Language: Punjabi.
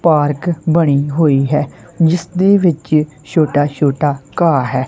ਪਾਰਕ ਬਣੀ ਹੋਈ ਹੈ ਜਿਸਦੇ ਵਿੱਚ ਛੋਟਾ ਛੋਟਾ ਘਾਹ ਹੈ।